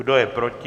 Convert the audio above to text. Kdo je proti?